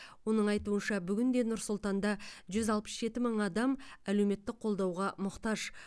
оның айтуынша бүгінде нұр сұлтанда жүз алпыс жеті мың адам әлеуметтік қолдауға мұқтаж